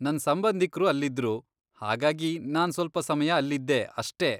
ನನ್ ಸಂಬಂಧಿಕ್ರು ಅಲ್ಲಿದ್ರು, ಹಾಗಾಗಿ ನಾನ್ ಸ್ವಲ್ಪ ಸಮಯ ಅಲ್ಲಿದ್ದೆ ಅಷ್ಟೇ.